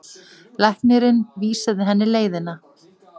Læknirinn vísaði henni leiðina.